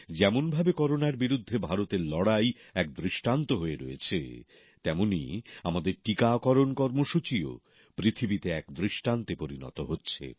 যেমনভাবে করোনার বিরুদ্ধে ভারতের লড়াই এক দৃষ্টান্ত হয়ে রয়েছে তেমনই আমাদের টিকাকরণ কর্মসূচীও পৃথিবীতে এক দৃষ্টান্তে পরিণত হচ্ছে